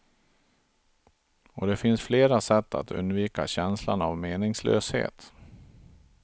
Och det finns flera sätt att undvika känslan av meningslöshet.